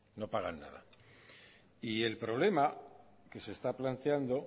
no pagan nada y el problema que se está planteando